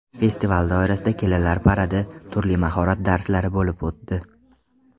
Festival doirasida kelinlar paradi, turli mahorat darslari bo‘lib o‘tdi.